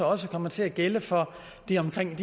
også kommer til at gælde for de omkring en